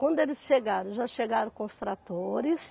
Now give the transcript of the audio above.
Quando eles chegaram, já chegaram com ostratores.